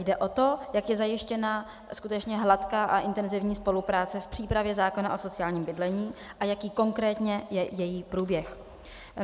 Jde o to, jak je zajištěna skutečně hladká a intenzivní spolupráce v přípravě zákona o sociálním bydlení a jaký konkrétně je její průběh.